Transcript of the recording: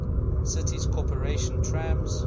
city's corporation trams